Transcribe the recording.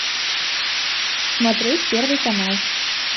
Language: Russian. смотреть первый канал